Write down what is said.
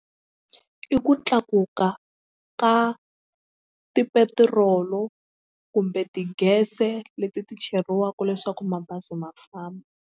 I ku tlakuka ka tipetirolo kumbe ti-gas-e leti ti cheriwaka leswaku mabazi ma famba.